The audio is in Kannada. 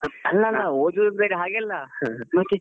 ಅಲ್ಲ ಅಲ್ಲ ಓದುದ್ ಅಂದ್ರೆ ಹಾಗೆ ಅಲ್ಲ.